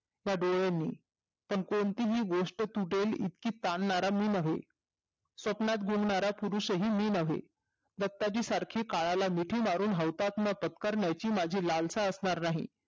तदे ह्यांनी पण कोणतीही गोष्ट तुटेल इतकी तांणणार मी नाही स्वप्नात गुंगणारा पुरुष मी न्हवे रक्ताची सारखी काळाला मिठी मारून हौतात्म पत्करण्याची माझी लालसा असणार नाही